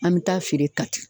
An bɛ taa feere Kati.